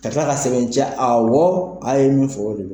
Ka tila k'a sɛbɛntiya awɔ a' ye min fɔ o de be